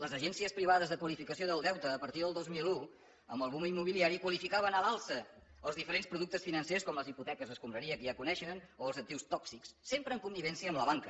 les agències privades de qualificació del deute a partir del dos mil un amb el boom immobiliari qualificaven a l’alça els diferents productes financers com les hipoteques escombraria que ja coneixen o els actius tòxics sempre en connivència amb la banca